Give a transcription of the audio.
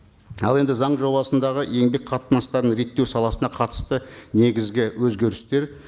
ал енді заң жобасындағы еңбек қатынастарын реттеу саласына қатысты негізгі өзгерістер